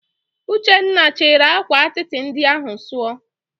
Uchenna, chịrị akwa atịtị ndị ahụ sụọ!